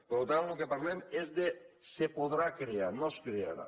per tant del que parlem és de es podrà crear no es crearà